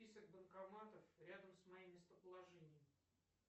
список банкоматов рядом с моим местоположением